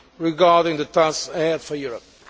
regarding the tasks ahead for Europe.